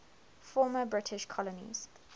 former british colonies